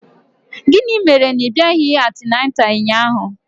Gịnị mere na ị bịaghị antịnantal ụnyaahụ?